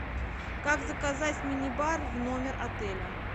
как заказать мини бар в номер отеля